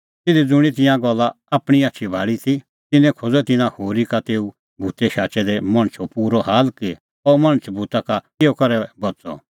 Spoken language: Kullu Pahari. तिधी ज़ुंणी तिंयां गल्ला आपणीं आछी भाल़ी ती तिन्नैं खोज़अ तिन्नां होरी का तेऊ भूत शाचै दै मणछो पूरअ हाल कि अह मणछ भूता का किहअ करै बच़अ